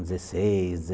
Dezeseis